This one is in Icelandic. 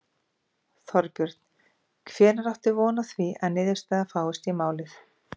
Þorbjörn: Hvenær áttu von á því að niðurstaða fáist í málið?